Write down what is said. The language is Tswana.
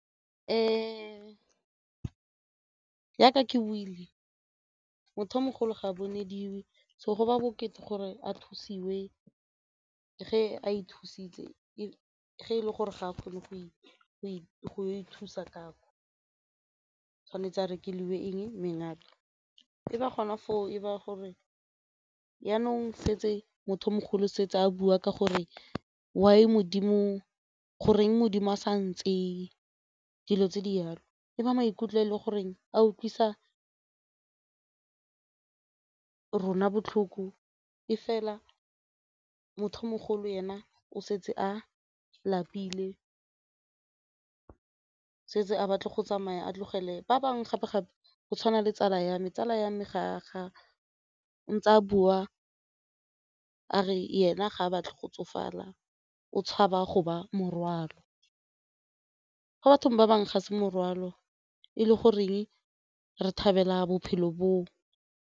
Jaka ke buile, motho yo mogolo ga bonediwe so go ba bokete gore a thusiwe ge a ithusitse ge e le gore ga a kgone go ithusa gore tshwanetse a rekeliwe eng ba gona foo e ba gore jaanong setse motho mogolo setse a bua ka gore why Modimo, goreng Modimo a sa ntseye dilo tse di jalo e ba maikutlo e le goreng a utlwisa rona botlhoko e fela motho o mogolo ena o setse a lapile setse a batle go tsamaya, a tlogele ba bangwe. Gape-gape go tshwana le tsala ya me, tsala ya me ga ntse a bua a re ene ga a batle go tsofala o tshaba go ba morwalo fa batho ba bangwe, ga se morwalo e le goreng re thabela bophelo boo.